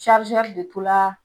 de to la,